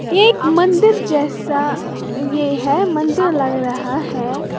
एक मंदिर जैसा ये है मंदिर लग रहा है।